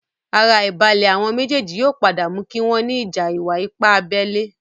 Ara àìbalẹ̀ àwon méjèèjì yóò padà mú kí wọ́n ní ìjà ìwà-ipá abẹ́lé